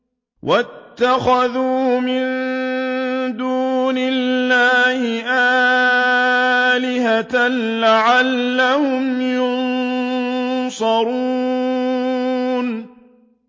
وَاتَّخَذُوا مِن دُونِ اللَّهِ آلِهَةً لَّعَلَّهُمْ يُنصَرُونَ